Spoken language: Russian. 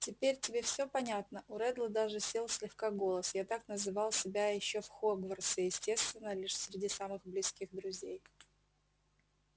теперь тебе всё понятно у реддла даже сел слегка голос я так называл себя ещё в хогвартсе естественно лишь среди самых близких друзей